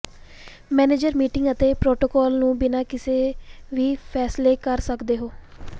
manager meeting ਅਤੇ protocol ਨੂੰ ਬਿਨਾ ਕਿਸੇ ਵੀ ਫ਼ੈਸਲੇ ਕਰ ਸਕਦੇ ਹੋ